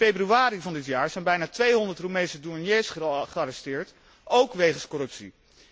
In februari van dit jaar zijn bijna 200 Roemeense douaniers gearresteerd, ook wegens corruptie.